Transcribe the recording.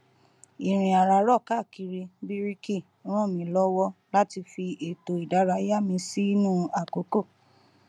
ìrìn àràárọ káàkiri bíríkì ràn mí lọwọ láti fi ètò ìdárayá mi sínú àkókò